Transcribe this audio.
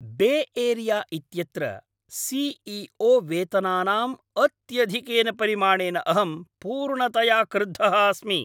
Bay Area इत्यत्र C E O वेतनानाम् अत्यधिकेन परिमाणेन अहं पूर्णतया क्रुद्धः अस्मि।